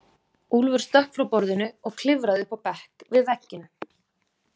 Úlfur stökk frá borðinu og klifraði upp á bekk við vegginn.